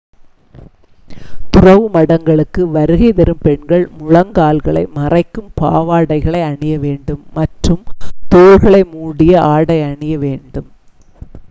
துறவு மடங்களுக்கு வருகை தரும்போது பெண்கள் முழங்கால்களை மறைக்கும் பாவாடைகளை அணிய வேண்டும் மற்றும் தோள்களை மூடிய ஆடை அணியவேண்டும்